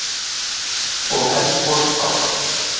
Nótt og Eldgos áfram